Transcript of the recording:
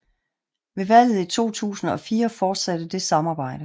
Ved valget i 2004 fortsatte det samarbejde